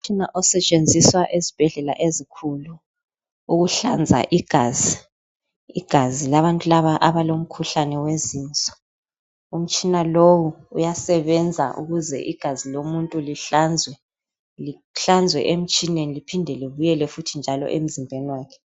Umtsina osetshenziswa ezibhedlela ezinkulu ukuhlanza igazi labantu laba abalomkhuhlane wezinso. Umtshina lowu uyasebenza ukuze igazi lomuntu lihlanzwe emtshineni, liphinde libuyele futhi njalo emzimbeni wakhe